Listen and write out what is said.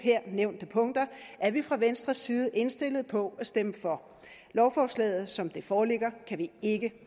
nævnte punkter er vi fra venstres side indstillet på at stemme for lovforslaget som det foreligger kan vi ikke